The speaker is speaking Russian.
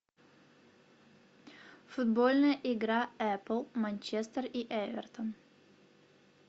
футбольная игра апл манчестер и эвертон